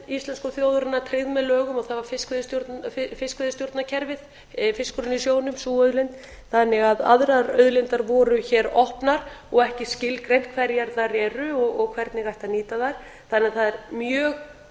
íslensku þjóðarinnar tryggð með lögum og það var fiskveiðistjórnarkerfið fiskurinn í sjónum sú auðlind þannig að aðrar auðlindir voru hér opnar og ekki skilgreint hverjar þeir eru og hvernig ætti að nýta þær þannig að það er mjög